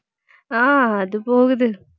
ஹான் அது போகுது